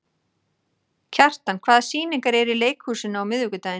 Kjartan, hvaða sýningar eru í leikhúsinu á miðvikudaginn?